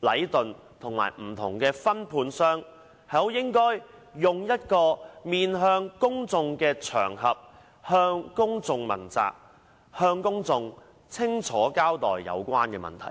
禮頓建築有限公司及不同的分判商，應以一個面向公眾的場合，接受公眾問責，向公眾清楚交代有關問題。